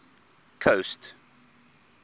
coast